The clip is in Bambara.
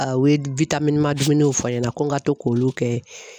A u ye dumuniw fɔ n ɲɛna ko n ka to k'olu kɛ.